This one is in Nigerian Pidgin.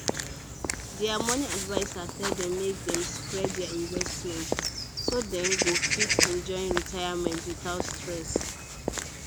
their money adviser tell dem make dem spread their investment so dem go fit enjoy retirement without stress